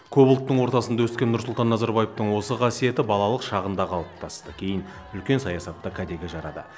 көп ұлттың ортасында өскен нұрсұлтан назарбаевтың осы қасиеті балалық шағында қалыптасты кейін үлкен саясатта кәдеге жарады